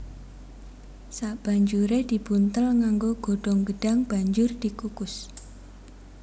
Sabanjuré dibuntel nganggo godhong gedhang banjur dikukus